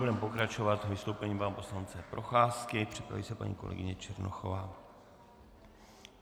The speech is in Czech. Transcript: Budeme pokračovat vystoupením pana poslance Procházky, připraví se paní kolegyně Černochová.